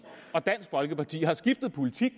og dansk folkeparti har skiftet politik